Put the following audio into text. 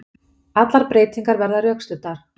Allar breytingar verða rökstuddar